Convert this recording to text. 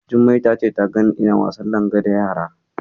Jummai ta ce ta ganni ina wasan Langa da yara.